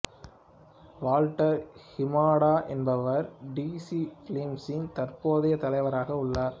Walter Hamada என்பவர் DC பிலிம்ஸின் தற்போதைய தலைவராக உள்ளார்